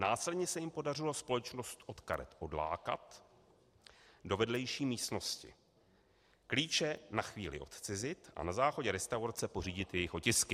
Následně se jim podařilo společnost od karet odlákat do vedlejší místnosti, klíče na chvíli odcizit a na záchodě restaurace pořídit jejich otisky.